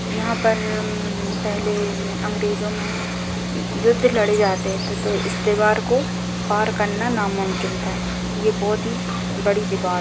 यहाँ पर पहले अंग्रेजो में युद्ध लड़े जाते थे तो इस दीवार को पार करना नामुमकिन था ये बहुत ही बड़ी दीवाल--